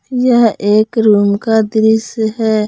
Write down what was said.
यह एक रूम का दृश्य है।